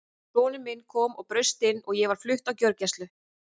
Sonur minn kom og braust inn og ég var flutt á gjörgæslu.